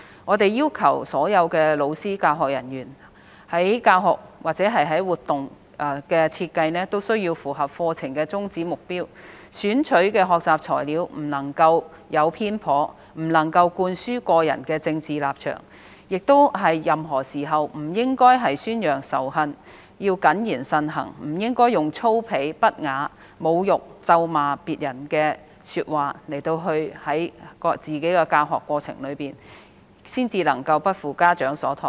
我們要求所有老師及教學人員在教學或活動設計方面符合課程的宗旨、目標，選取的學習材料不能偏頗，不能灌輸個人政治立場，亦不應在任何時候宣揚仇恨；要謹言慎行，不應該把粗鄙、不雅、侮辱、咒罵別人的說話加入自己的教學過程，這樣才能夠不負家長所託。